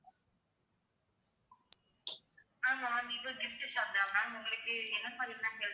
ஆமா vivo gift shop தான் ma'am உங்களுக்கு என்ன.